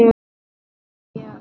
Já, mjög